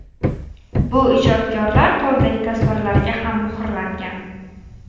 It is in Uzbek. Bu ijodkorlar qo‘lidagi tasvirlarga ham muhrlangan.